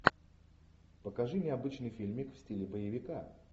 покажи мне обычный фильмик в стиле боевика